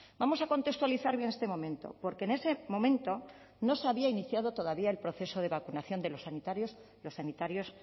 vamos a contextualizar bien este momento porque en ese momento no se había iniciado todavía el proceso de vacunación de los sanitarios los sanitarios